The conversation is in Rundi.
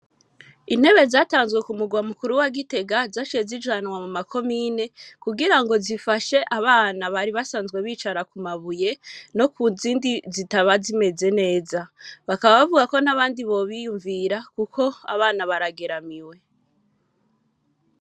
Intebe zatanzwe ku murwa mu kuru wa Gitega zaciye zijanwa mu makomine kugira zifashe abana bari basanzwe bicara ku mabuye no kizindi zitaba zimeze neza bakaba bavuga ko n'abandi bo biyumvira kuko abana barageramiwe.